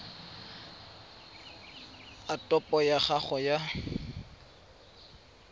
a topo ya gago ya